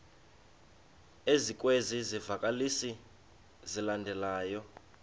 ezikwezi zivakalisi zilandelayo